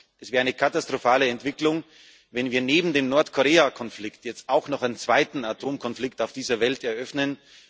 Es wäre eine katastrophale Entwicklung, wenn wir neben dem Nordkorea Konflikt jetzt auch noch einen zweiten Atomkonflikt auf dieser Welt eröffnen.